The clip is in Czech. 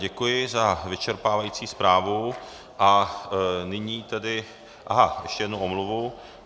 Děkuji za vyčerpávající zprávu a nyní tedy - aha, ještě jednu omluvu.